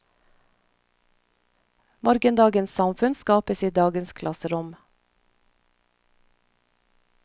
Morgendagens samfunn skapes i dagens klasserom.